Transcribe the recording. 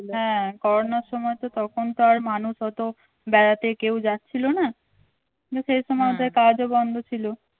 হ্যাঁ করোনার সময় তো তখন তো আর মানুষ অত বেড়াতে কেউ যাচ্ছিল না সেই সময় ওদের কাজও বন্ধ ছিল।